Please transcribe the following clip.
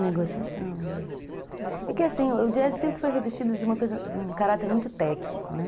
Negociação, é. É que assim, o jazz sempre foi revestido de um caráter muito técnico, né?